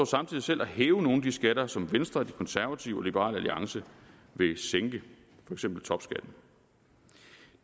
samtidig selv at hæve nogle af de skatter som venstre de konservative og liberal alliance vil sænke for eksempel topskatten